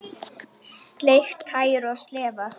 Sleikt tær og slefað.